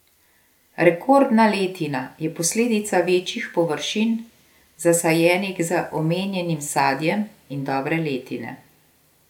Rekordna letina je posledica večjih površin, zasajenih z omenjenim sadjem, in dobre letine.